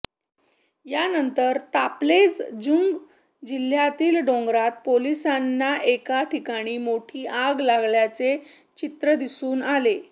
यानंतर ताप्लेजुंग जिल्ह्यातील डोंगरात पोलिसांना एका ठिकाणी मोठी आग लागल्याचे चित्र दिसून आले